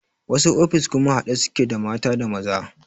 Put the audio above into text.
Wasu ofis kuma haɗe suke da mata da maza